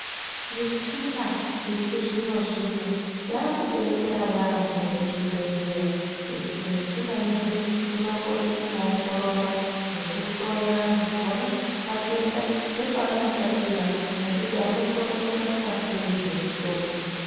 Michina yechizvino zvino yakudetsera yaambo muzvibhehleya ngekuti muchina ineyi inokona kuongorora nekuhloya antu kuona matenda nepaanotangira nekuti anokona kurapwa sei nemitombo.